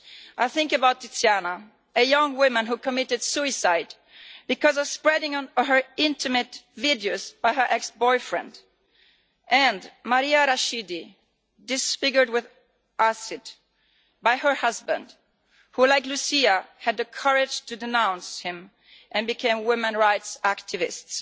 I think about Tiziana, a young woman who committed suicide because of spreading her intimate videos by her ex boyfriend, and Maria Rashidi, disfigured with acid by her husband, who, like Lucia, had the courage to denounce him and became a women's rights activists.